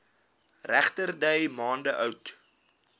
regterdy maande oud